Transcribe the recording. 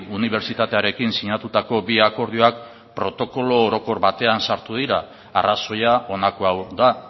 unibertsitatearekin sinatutako bi akordioak protokolo orokor batean sartu dira arrazoia honako hau da